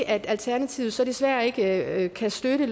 at alternativet så desværre ikke kan støtte